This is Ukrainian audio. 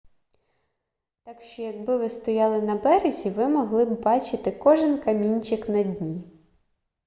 так що якби ви стояли на березі ви могли б бачити кожен камінчик на дні